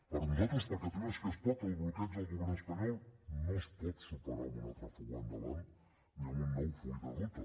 per nosaltres per catalunya sí que es pot el bloqueig del govern espanyol no es pot superar amb una altra fuga endavant ni amb un nou full de ruta